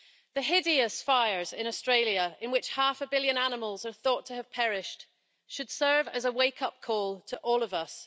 The hideous fires in Australia, in which half a billion animals are thought to have perished, should serve as a wake up call to all of us.